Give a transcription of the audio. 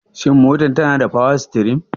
Shin motar tanada power steering?